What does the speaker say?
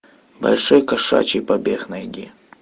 большой кошачий побег найди